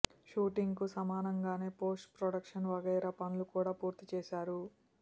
shooting కు సమానంగానే post production వగైరా పనులు కూడా పూర్తి చేశారు